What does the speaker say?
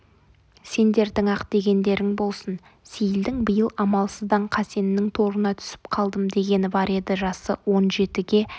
сендердің-ақ дегендерің болсын сейілдің биыл амалсыздан қасеннің торына түсіп қалдым дегені бар еді жасы он жетіге